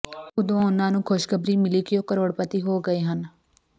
ਉਦੋਂ ਉਹਨਾਂ ਨੂੰ ਖੁਸ਼ਖਬਰੀ ਮਿਲੀ ਕਿ ਉਹ ਕਰੋੜਪਤੀ ਹੋ ਗਏ ਹਨ